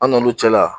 An n'olu cɛla la